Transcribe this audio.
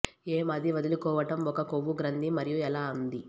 ఏం అది వదిలించుకోవటం ఒక కొవ్వు గ్రంథి మరియు ఎలా ఉంది